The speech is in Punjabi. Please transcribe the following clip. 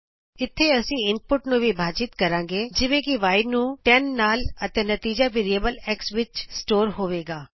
ਇਥੇ ਅਸੀਂ ਇਨਪੁਟ ਨੂੰ ਵਿਭਾਜਿਤ ਕਰਾਂਗੇ ਜਿਵੇਂ ਕਿ y ਨੂੰ 10 ਨਾਲ ਅਤੇ ਨਤੀਜਾ ਵੈਰੀਐਬਲ x ਵਿਚ ਸਟੋਰ ਹੋਵੇਗਾ